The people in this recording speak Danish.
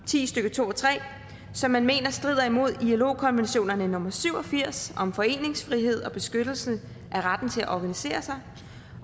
ti stykke to og tre som man mener strider imod ilo konventionerne nummer syv og firs om foreningsfrihed og beskyttelse af retten til at organisere sig